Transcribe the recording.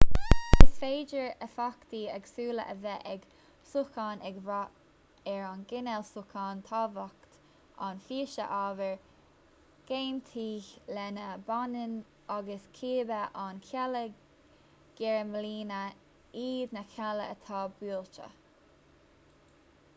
is féidir éifeachtaí éagsúla a bheith ag sócháin ag brath ar an gcineál sócháin tábhacht an phíosa ábhair ghéinitigh lena mbaineann agus cibé an cealla geirmlíne iad na cealla atá buailte